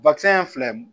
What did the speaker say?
ye filɛ